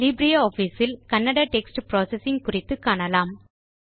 LibreOffice இல் Kannada text processing குறித்து காணலாம்